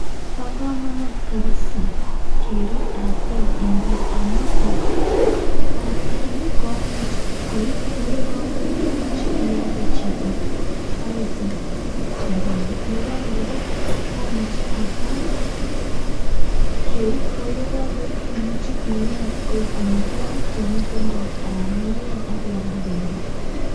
Bo komonut kapsaa kerib artet eng' gaa, amu ne tai, artani komuch koi. Ko yekakoi, imuche ialde chito akisich rabinik. Nebo aeng' kora, komuche artani keui. Yeakakoui, koimuch ieny koib amitwogik yamiten taek, anan ieny akialde pendo.